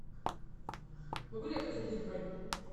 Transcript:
могу ли я подтвердить бронь